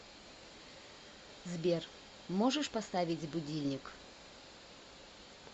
сбер можешь поставить будильник